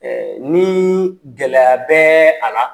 Ɛɛ ni gɛlɛya bɛ a la